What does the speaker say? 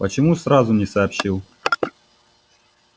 почему сразу не сообщил